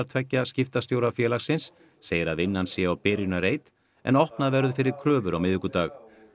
tveggja skiptastjóra félagsins segir að vinnan sé á byrjunarreit en opnað verður fyrir kröfur á miðvikudag